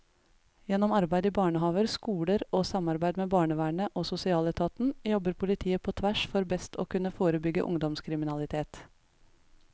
Gjennom arbeid i barnehaver, skoler og samarbeid med barnevernet og sosialetaten jobber politiet på tvers for best å kunne forebygge ungdomskriminalitet.